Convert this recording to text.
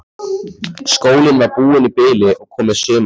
Skólinn var búinn í bili og komið sumarfrí.